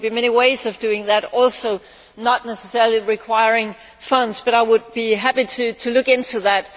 There will be many ways of doing that not necessarily requiring funds and I would be happy to look into that.